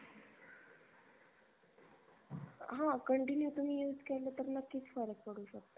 हा continue तुम्ही use केलं तर नक्कीच फरक पडू शकतो.